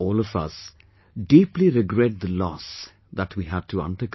All of us deeply regret the loss that we had to undergo